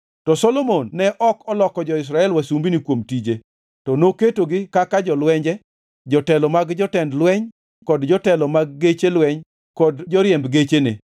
To Solomon ne ok oloko jo-Israel wasumbini kuom tije, to noketogi kaka jolwenje, jotelo mag jotend lweny kod jotelo mag geche lweny kod joriemb gechene.